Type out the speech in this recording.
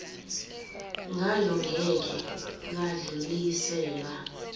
ngalo ngeke lwadluliselwa